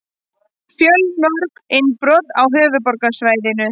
Fjölmörg innbrot á höfuðborgarsvæðinu